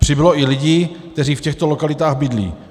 Přibylo i lidí, kteří v těchto lokalitách bydlí.